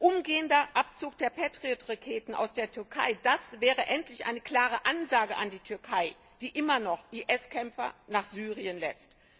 Umgehender Abzug der Patriot Raketen aus der Türkei, das wäre endlich eine klare Ansage an die Türkei, die immer noch IS Kämpfer nach Syrien lässt.